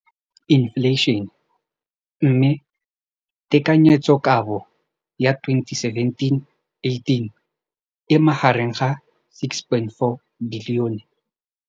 Infleišene, mme tekanyetsokabo ya 2017 le 2018 e magareng ga R6.4 bilione.